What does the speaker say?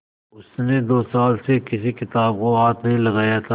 उसने दो साल से किसी किताब को हाथ नहीं लगाया था